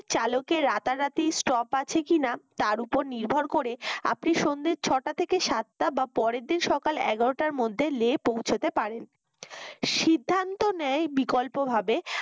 চালকের রাতারাতি stop আছে কিনা তার ওপর নির্ভর করে আপনি সন্ধ্যে ছটা থেকে সাতটা বা পরের দিন সকাল এগারোটার মধ্যে লে পৌঁছাতে পারেন সিদ্ধান্ত নেয় বিকল্পভাবে